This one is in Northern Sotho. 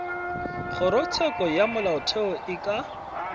kgorotsheko ya molaotheo e ka